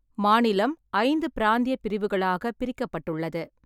மாநிலம் ஐந்து பிராந்திய பிரிவுகளாகப் பிரிக்கப்பட்டுள்ளது.